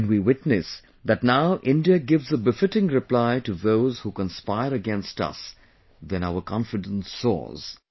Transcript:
When we witness that now India gives a befitting reply to those who conspire against us, then our confidence soars